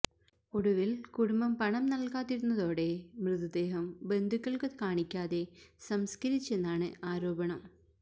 ഒടുവില് കുടുംബം പണം നല്കാതിരുന്നതോടെ മൃതദേഹം ബന്ധുക്കള്ക്ക് കാണിക്കാതെ സംസ്കരിച്ചെന്നാണു ആരോപണം